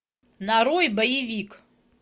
нарой боевик